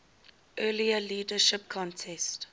earlier leadership contest